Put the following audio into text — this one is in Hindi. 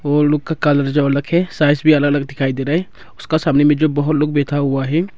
ओल्ड लोग का कॉलर रखे है साइज भी अलग अलग दिखाई दे रहा है उसका सामने में जो बहोत लोग बैठा हुआ है।